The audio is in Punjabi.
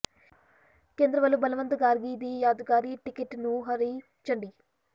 ਕੇਂਦਰ ਵੱਲੋਂ ਬਲਵੰਤ ਗਾਰਗੀ ਦੀ ਯਾਦਗਾਰੀ ਟਿਕਟ ਨੂੰ ਹਰੀ ਝੰਡੀ